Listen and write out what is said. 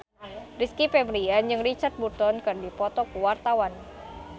Rizky Febian jeung Richard Burton keur dipoto ku wartawan